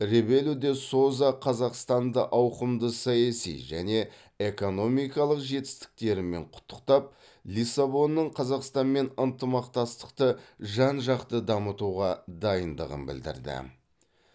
ребелу де соза қазақстанды ауқымды саяси және экономикалық жетістіктерімен құттықтап лиссабонның қазақстанмен ынтымақтастықты жан жақты дамытуға дайындығын білдірді